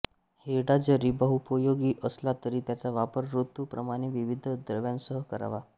हिरडा जरी बहुपयोगी असला तरी त्याचा वापर ऋतु प्रमाणे विविध द्रव्यांसह करावा